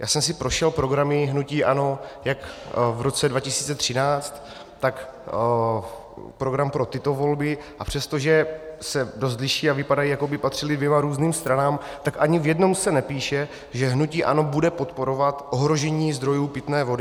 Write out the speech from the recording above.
Já jsem si prošel programy hnutí ANO jak v roce 2013, tak program pro tyto volby, a přestože se dost liší a vypadají, jako by patřily dvěma různým stranám, tak ani v jednom se nepíše, že hnutí ANO bude podporovat ohrožení zdrojů pitné vody.